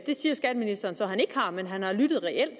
det siger skatteministeren så at han ikke har men at han har lyttet reelt